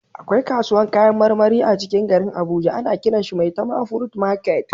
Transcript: Akwai kasuwan kayan marmari a cikin garin abuja ana kiran shi "maitama fruit market"